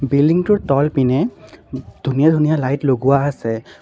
Building টোৰ তলপিনে ধুনীয়া ধুনীয়া লাইট লগোৱা আছে।